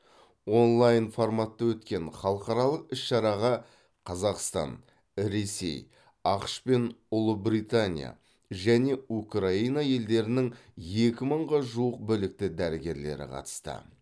онлайн форматта өткен халықаралық іс шараға қазақстан ресей ақш пен ұлыбритания және украина елдерінің екі мыңға жуық білікті дәрігерлері қатысты